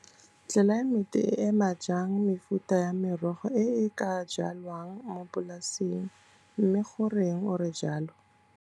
Tlelaemete e ema jang mefuta ya merogo e e ka jalwang mo polasing, mme goreng ore jalo?